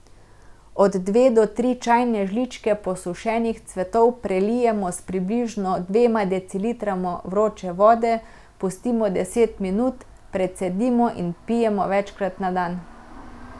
Od dve do tri čajne žličke posušenih cvetov prelijemo s približno dvema decilitroma vroče vode, pustimo deset minut, precedimo in pijemo večkrat na dan.